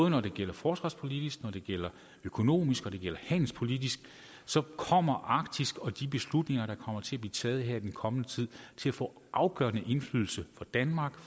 når det gælder forsvarspolitik økonomisk politik og handelspolitik kommer arktis og de beslutninger der kommer til at blive taget her i den kommende tid til at få afgørende indflydelse på danmark